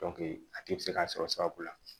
a tigi bɛ se k'a sɔrɔ sababu la